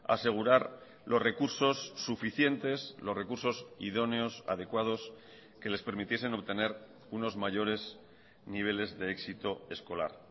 asegurar los recursos suficientes los recursos idóneos adecuados que les permitiesen obtener unos mayores niveles de éxito escolar